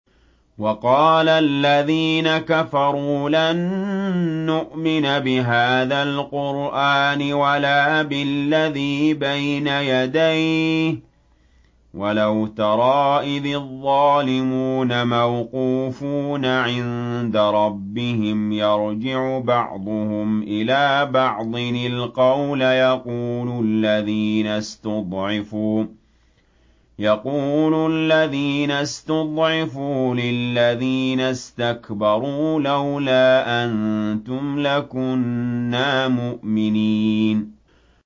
وَقَالَ الَّذِينَ كَفَرُوا لَن نُّؤْمِنَ بِهَٰذَا الْقُرْآنِ وَلَا بِالَّذِي بَيْنَ يَدَيْهِ ۗ وَلَوْ تَرَىٰ إِذِ الظَّالِمُونَ مَوْقُوفُونَ عِندَ رَبِّهِمْ يَرْجِعُ بَعْضُهُمْ إِلَىٰ بَعْضٍ الْقَوْلَ يَقُولُ الَّذِينَ اسْتُضْعِفُوا لِلَّذِينَ اسْتَكْبَرُوا لَوْلَا أَنتُمْ لَكُنَّا مُؤْمِنِينَ